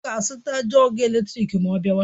Ọ ga azuta jọgu eletrik ma ọ biawa